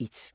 1)